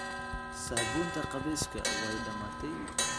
Saabuuntii qubayska way dhammaatay.